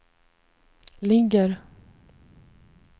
ligger